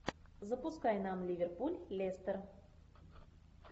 запускай нам ливерпуль лестер